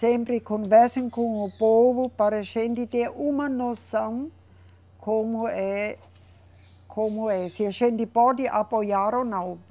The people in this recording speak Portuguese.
Sempre conversem com o povo para a gente ter uma noção como é. Como é, se a gente pode apoiar ou não.